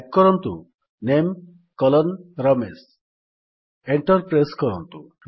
type କରନ୍ତୁ - NAME Ramesh enter press କରନ୍ତୁ